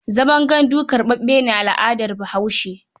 Zaman gandu karɓaɓɓe ne a al'adar Bahaushe.